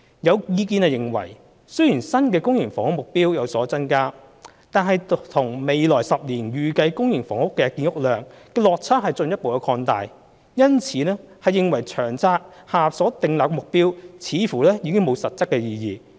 有意見認為，雖然新的公營房屋目標有所增加，但與未來10年的預計公營房屋建屋量的落差進一步擴大，因而認為《長策》下所訂立的目標似乎已無實質意義。